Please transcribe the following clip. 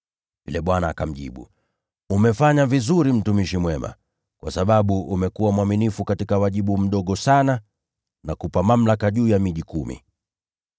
“Yule bwana akamjibu, ‘Umefanya vizuri mtumishi mwema! Kwa sababu umekuwa mwaminifu katika wajibu mdogo sana, nakupa mamlaka juu ya miji kumi.’